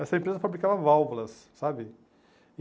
Essa empresa fabricava válvulas, sabe?